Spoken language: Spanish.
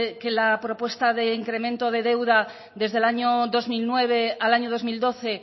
que la propuesta de incremento de deuda desde el año dos mil nueve al año dos mil doce